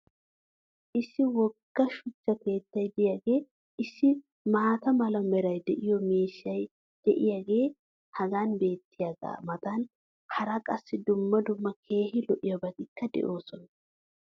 issi wogga shuchcha keettay diyaagee issi maata mala meray de'iyo miishshay diyaagee hagan beetiyaagaa matan hara qassi dumma dumma keehi lo'iyaabatikka de'oosona.